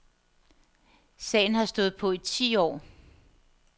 Sagen har stået på i ti år.